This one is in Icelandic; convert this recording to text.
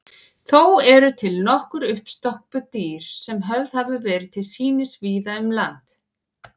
Þó eru til nokkur uppstoppuð dýr sem höfð hafa verið til sýnis víða um land.